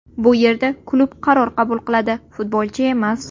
Bu yerda klub qaror qabul qiladi, futbolchi emas.